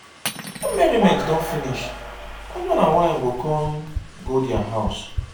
wen merriment don finish husband and wife go kon go dia house